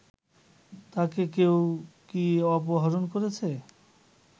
তাকে কেউ কি অপহরণ করেছে